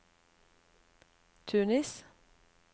Tunis